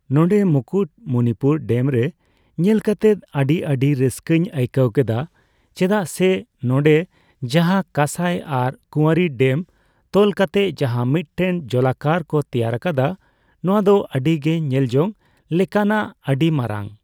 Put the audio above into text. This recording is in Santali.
ᱱᱚᱸᱰᱮ ᱢᱩᱠᱩᱴ ᱢᱩᱱᱤᱯᱩᱨ ᱰᱮᱢ ᱨᱮ ᱧᱮᱞ ᱠᱟᱛᱮᱫ ᱟᱹᱰᱤᱼᱟᱹᱰᱤ ᱨᱟᱹᱥᱠᱟᱹᱧ ᱟᱹᱭᱠᱟᱹᱣ ᱠᱮᱫᱟ᱾ ᱪᱮᱫᱟᱜ ᱥᱮ ᱱᱚᱸᱰᱮ ᱡᱟᱦᱟᱸ ᱠᱟᱹᱥᱟᱹᱭ ᱟᱨ ᱠᱩᱣᱟᱹᱨᱤ ᱰᱮᱢ ᱛᱚᱞ ᱠᱟᱛᱮᱫ ᱡᱟᱦᱟᱸ ᱢᱤᱫᱴᱮᱱ ᱡᱚᱞᱟᱠᱟᱨ ᱠᱚ ᱛᱮᱭᱟᱨ ᱟᱠᱟᱫᱟ ᱱᱚᱣᱟ ᱫᱚ ᱟᱹᱰᱤᱜᱮ ᱧᱮᱞ ᱡᱚᱝ ᱞᱮᱠᱟᱱᱟᱜ ᱟᱹᱰᱤ ᱢᱟᱨᱟᱝ᱾